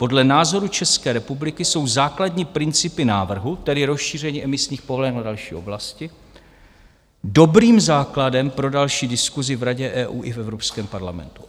Podle názoru České republiky jsou základní principy návrhu, tedy rozšíření emisních povolenek na další oblasti, dobrým základem pro další diskusi v Radě EU i v Evropském parlamentu...